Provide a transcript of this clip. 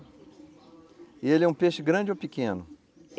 E ele é um peixe grande ou pequeno?